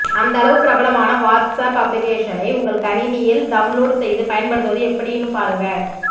அந்தளவு பிரபலமான வாட்ஸ்ஆப் அப்ளிகேஷனை உங்க கணினியில் டவுன்லோடு செய்து பயன்படுத்துவது எப்படினு பாருங்க